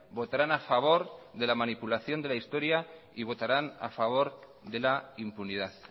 votarán a favor de la manipulación de la historia y votarán a favor de la impunidad